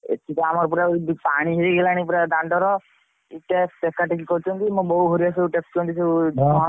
ଏଠି ତ ଆମର ପୁରା ପାଣି ହେଇଗଲାଣି ପୁରା ଦାଣ୍ଡ ରେ ସବୁ ଟେକା ଟେକି କରୁଛନ୍ତି ମୋ ବୋଉ ହେରିକା ସବୁ ଟେକୁଛନ୍ତି ସବୁ ।